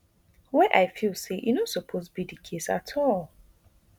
wey i feel say e no suppose be di case at all